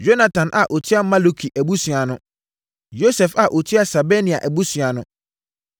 Yonatan a ɔtua Maluki abusua ano. Yosef a ɔtua Sebania abusua ano.